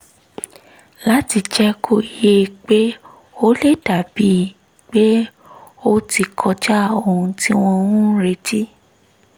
láti jẹ́ kó yé e pé ó lè dà bíi pé ó ti kọjá ohun tí wọ́n ń retí